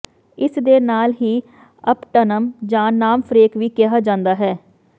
ਇਸਦੇ ਨਾਲ ਹੀ ਅਪਟਨਮ ਜਾਂ ਨਾਮਫ੍ਰੇਕ ਵੀ ਕਿਹਾ ਜਾਂਦਾ ਹੈ